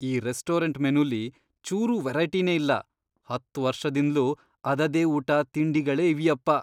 ಈ ರೆಸ್ಟೋರೆಂಟ್ ಮೆನುಲಿ ಚೂರೂ ವೆರೈಟಿನೇ ಇಲ್ಲ, ಹತ್ತ್ ವರ್ಷದಿಂದ್ಲೂ ಅದದೇ ಊಟ, ತಿಂಡಿಗಳೇ ಇವ್ಯಪ್ಪ.